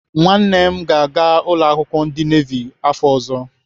Nwanne m ga-aga ụlọakwụkwọ ndị nevi afọ ọzọ.